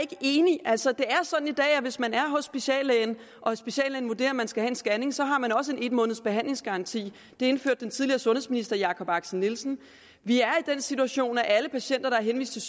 enig altså det er sådan i dag at hvis man er hos speciallægen og speciallægen vurderer at man skal have en scanning så har man også en en måneds behandlingsgaranti det indførte den tidligere sundhedsminister jakob axel nielsen vi er i den situation at alle patienter der er henvist til